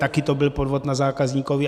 Taky to byl podvod na zákazníkovi.